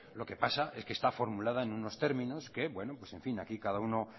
lo que pasa es que está formulada en unos términos que bueno en fin aquí cada uno